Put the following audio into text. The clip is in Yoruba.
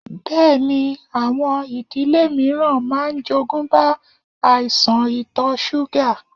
Bẹẹni, àwọn ìdílé mìíràn máa ń jogúnbá àìsàn ito súgà.